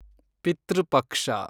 ಪಿತೃ ಪಕ್ಷ